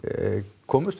komumst